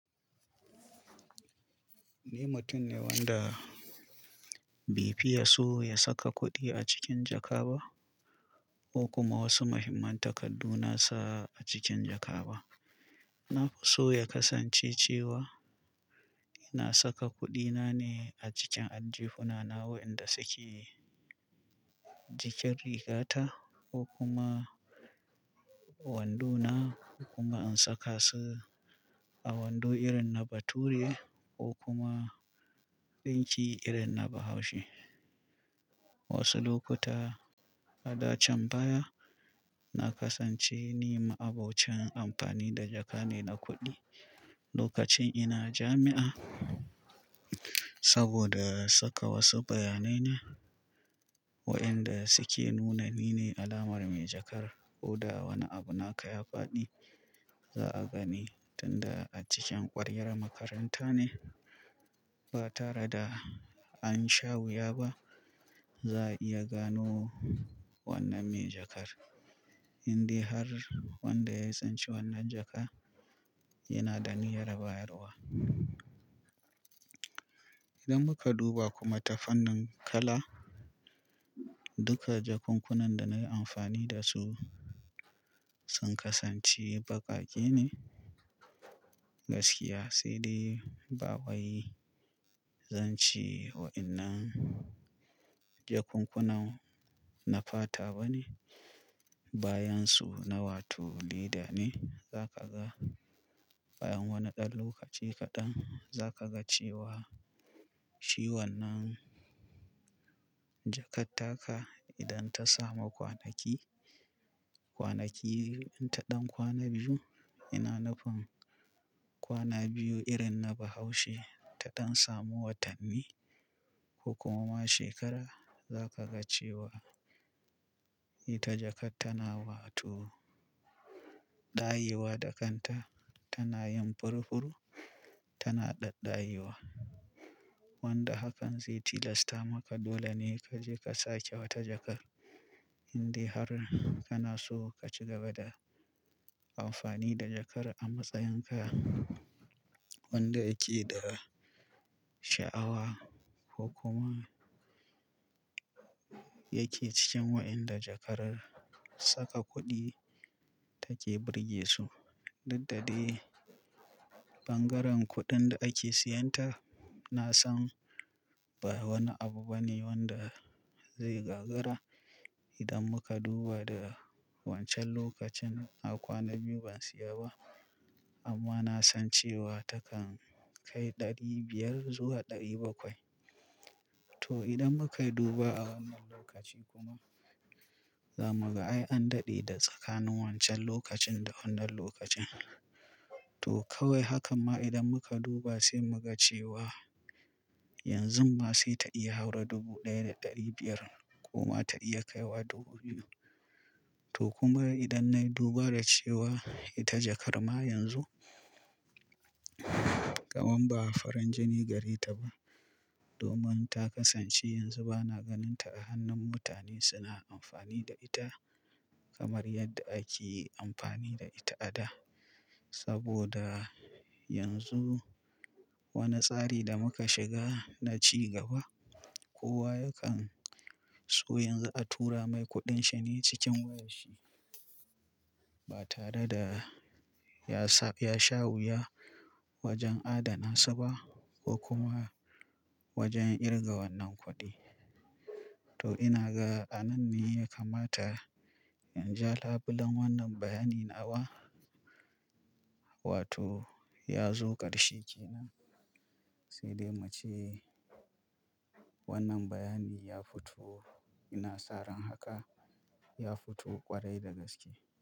Ni mutum ne wanda bai fi ya so ya saka kuɗi a cikin jaka ba ko kuma wasu muhimman takaddu na sa a cikin jaka ba. Na fi so ya kasance cewa ina saka kuɗina ne a cikin ajjihunana waɗanda suke jikin rigata ko kuma wando na kuma in saka su a wando irin na bature ko kuma ɗinki irin na bahaushe. Wasu lokuta a dacan baya na kasance ni ma'abocin amfani da jaka ne na kuɗi lokacin ina jami'a saboda saka wasu bayanai na wainda suke nuna ni ne alamar mai jakar ko da wani abu naka ya faɗi za a gani tunda a cikin ƙwaryar makaranta ne ba tare da an sha wuya ba za a iya gano wannan mai jakar. Indai har wanda ya tsinci wannan jakar yana da niyyar bayarwa. Idan muka duba kuma ta fannin kala, duka jakunkunan da na yi amfani da su sun kasance baƙaƙe ne gaskiya sai dai ba wai zan ce wainnan jakunkunan na fata ba ne bayan su na wato leda ne. Za ka ga bayan wani ɗan lokaci kaɗan za ka ga cewa shi wannan jakar taka idan ta samu kwanaki, kwanaki in ta ɗan kwana biyu, ina nufin kwana biyu irin na bahaushe ta ɗan samu watanni ko kuma shekara za ka ga cewa ita jakar tana wato ɗayewa da kanta tana yin furfuru, tana ɗadɗayewa. Wanda hakan zai tilasta maka dole ne ka je ka sake wata jakar indai har kana so ka ci gaba da amfani da jakar a matsayin kaya wanda yake da sha'awa ko kuma yake cikin waɗanda jakar saka kuɗi take birge su. Diddade bangaren kuɗin da ake siyan ta na san ba wani abu ba ne wanda ze gagara. Idan muka duba da wancan lokacin na kwana biyu ban siya ba amma na san cewa takan kai ɗari biyar zuwa ɗari bakwai. To idan muka duba a wannan lokaci kuma za mu ga ai an daɗe da tsakanin wancan lokacin da wannan lokacin. To kawai haka ma idan muka duba sai mu ga cewa yanzu ma sai ta iya haura dubu ɗaya da ɗari biyar ko ma ta iya kaiwa dubu biyu. To kuma idan na yi duba da cewa ita jakar ma yanzu kaman ba farin jini gare ta ba domin ta kasance yanzu ba na ganin ta a hannun mutane suna amfani da ita kamar yadda ake amfani da ita a da. Saboda yanzu wani tsari da muka shiga na cigaba kowa yakan so yanzu a tura mai kuɗin shi ne cikin wayar shi ba tare da ya sa, ya sha wuya wajen adana su ba ko kuma wajen kirga wannan kuɗi. To ina ga a nan ne ya kamata in ja labulen wannan bayanin awa wato ya zo ƙarshe ke nan sai dai mu ce wannan bayani ya fito ina saran haka ya fito ƙwarai da gaske.